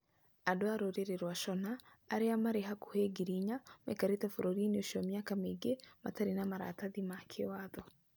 Andũ a rũrĩrĩ rwa Shona, arĩa marĩ hakuhĩ 4,000, maikarĩte bũrũri-inĩ ũcio mĩaka mĩingĩ matarĩ na maratathi ma kĩwatho.